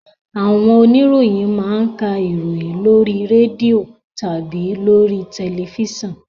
Àwọn oniroyin ma ń ka ìròyìn lóri rẹ́dìò tàbí lóri tẹlẹfísàn